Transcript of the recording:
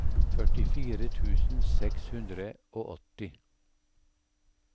førtifire tusen seks hundre og åtti